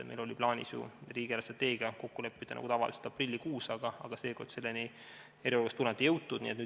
Meil oli plaanis ju riigi eelarvestrateegias kokku leppida nagu tavaliselt aprillikuus, aga seekord ei ole selleni eriolukorra tõttu veel jõutud.